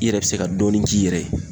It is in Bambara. I yɛrɛ be se ka dɔɔnin k'i yɛrɛ ye